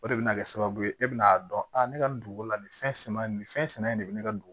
O de bɛ na kɛ sababu ye e bɛna a dɔn a ne ka nin dugu la nin fɛn sɛgɛn nin fɛn sɛnɛ in de bɛ ne ka dugu